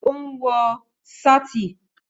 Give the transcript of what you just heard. Ó ń wọ sáàtì